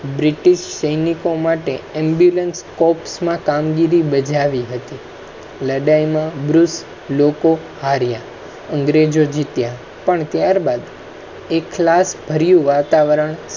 સૈનિકો માટે ambulance corps માં કામગીરી બજાવી હતી લડાઈ માં . લોકો અંગ્રેજો હાર્યા અંગ્રેજો જીત્યા પન ત્યાર બાદ એ ક્લાસ ભર્યું વાતાવરણ